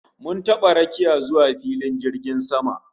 Mun taba rakiya zuwa filin jirgin sama